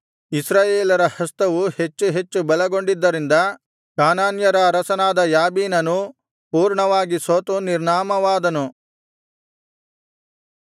ಇಸ್ರಾಯೇಲರ ಹಸ್ತವು ಹೆಚ್ಚು ಹೆಚ್ಚು ಬಲಗೊಂಡದ್ದರಿಂದ ಕಾನಾನ್ಯರ ಅರಸನಾದ ಯಾಬೀನನು ಪೂರ್ಣವಾಗಿ ಸೋತು ನಿರ್ನಾಮವಾದನು